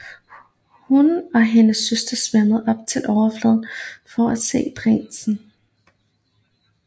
Hun og hendes søstre svømmede op til overfladen for at se prinsen